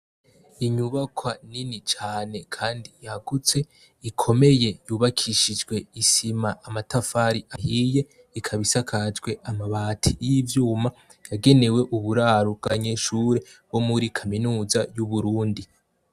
Inyubakwa nini cane kandi yagutse ikomeye yubakishijwe isima amatafari ahiye ikaba isakajwe amabati yivyuma yagenewe uburaro bwabanyeshure bo muri kaminuza y'uburundi.